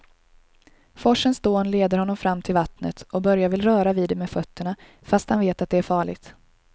Forsens dån leder honom fram till vattnet och Börje vill röra vid det med fötterna, fast han vet att det är farligt.